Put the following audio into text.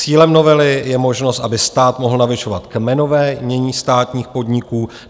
Cílem novely je možnost, aby stát mohl navyšovat kmenové jmění státních podniků.